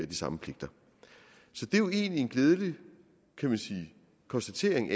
de samme pligter så det er jo egentlig en glædelig konstatering